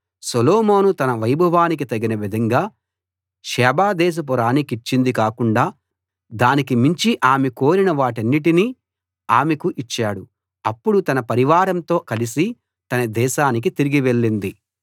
సొలొమోను తన వైభవానికి తగిన విధంగా షేబ దేశపు రాణికిచ్చింది కాకుండా దానికి మించి ఆమె కోరిన వాటన్నిటినీ ఆమెకు ఇచ్చాడు అప్పుడు ఆమె తన పరివారంతో కలిసి తన దేశానికి తిరిగి వెళ్ళింది